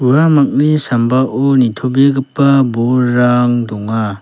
uamangni sambao nitobegipa bolrang donga.